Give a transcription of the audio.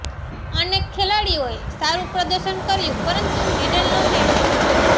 અનેક ખેલાડીઓએ સારુ પ્રદર્શન કર્યું પરંતુ મેડલ ન મેળવી શક્યાં